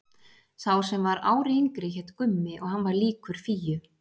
Sá sem var ári yngri hét Gummi og hann var líkur Fíu.